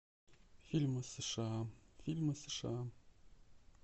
фильмы сша фильмы сша